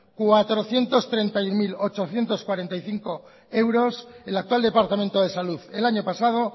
cuatrocientos treinta y uno mil ochocientos cuarenta y cinco euros el actual departamento de salud el año pasado